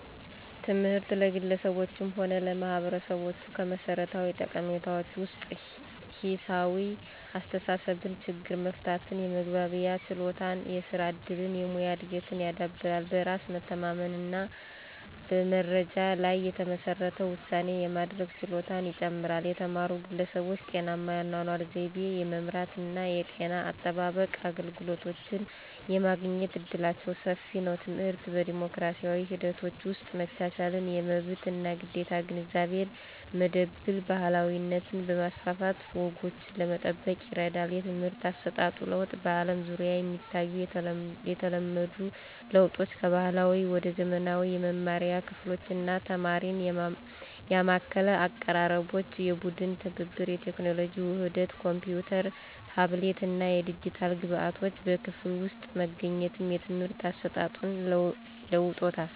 ትምህርት ለግለሰቦችም ሆነ ለማህበረሰቦች ከመሠረታዊ ጠቀሜታዎች ውስጥ ሂሳዊ አስተሳሰብን፣ ችግር መፍታትን፣ የመግባቢያ ችሎታን፣ የስራ እድልን፣ የሙያ እድገትን ያዳብራል። በራስ መተማመንን እና በመረጃ ላይ የተመሠረተ ውሳኔ የማድረግ ችሎታን ይጨምራል። የተማሩ ግለሰቦች ጤናማ የአኗኗር ዘይቤን የመምራት እና የጤና አጠባበቅ አገልግሎቶችን የማግኘት እድላቸው ሰፊ ነው። ትምህርት በዲሞክራሲያዊ ሂደቶች ውስጥ መቻቻልን፣ የመብት እና ግዴታ ግንዛቤን፣ መድብለ ባህላዊነትን በማስፋፋት ወጎችን ለመጠበቅ ይረዳል። የትምህርት አሰጣጥ ለውጥ በአለም ዙሪያ የሚታዩ የተለመዱ ለውጦች ከባህላዊ ወደ ዘመናዊ የመማሪያ ክፍሎች እና ተማሪን ያማከለ አቀራረቦች፣ የቡድን ትብብር፣ የቴክኖሎጂ ውህደት ኮምፒውተሮች፣ ታብሌቶች እና የዲጂታል ግብዓቶች በክፍል ውስጥ መገኘት የትምህርት አሰጣጡን ለውጦታል።